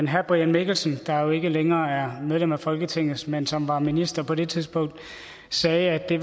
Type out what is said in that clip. herre brian mikkelsen der jo ikke længere er medlem af folketinget men som var minister på det tidspunkt sagde at det